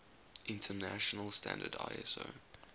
international standard iso